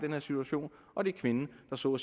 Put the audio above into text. her situation og det er kvinden der så